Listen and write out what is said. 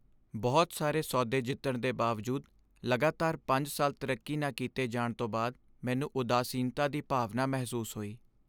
ਬਹੁਤ ਸਾਰੇ ਸੌਦੇ ਜਿੱਤਣ ਦੇ ਬਾਵਜੂਦ ਲਗਾਤਾਰ ਪੰਜ ਸਾਲ ਤਰੱਕੀ ਨਾ ਕੀਤੇ ਜਾਣ ਤੋਂ ਬਾਅਦ ਮੈਨੂੰ ਉਦਾਸੀਨਤਾ ਦੀ ਭਾਵਨਾ ਮਹਿਸੂਸ ਹੋਈ।